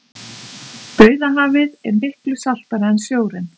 dauðahafið er miklu saltara en sjórinn